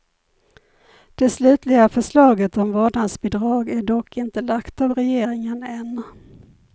Det slutliga förslaget om vårdnadsbidrag är dock inte lagt av regeringen än.